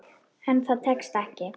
En það tekst.